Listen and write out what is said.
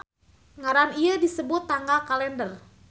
Ngaran ieu disebut tanggal kalender.